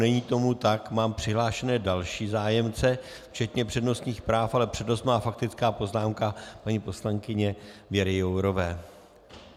Není tomu tak, mám přihlášené další zájemce včetně přednostních práv, ale přednost má faktická poznámka paní poslankyně Věry Jourové.